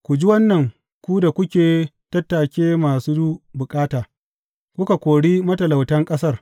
Ku ji wannan, ku da kuke tattake masu bukata kuka kori matalautan ƙasar.